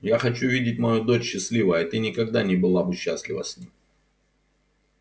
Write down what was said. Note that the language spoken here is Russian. я хочу видеть мою дочь счастливой а ты никогда не была бы счастлива с ним